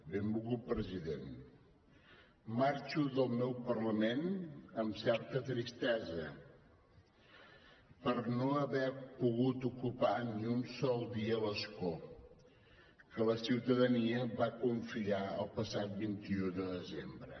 benvolgut president marxo del meu parlament amb certa tristesa per no haver pogut ocupar ni un sol dia l’escó que la ciutadania em va confiar el passat vint un de desembre